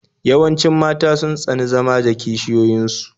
Yawancin mata sun tsani zama da kishiyoyin su